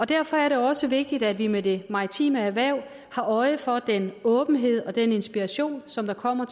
derfor er det også vigtigt at vi med det maritime erhverv har øje for den åbenhed og den inspiration som kommer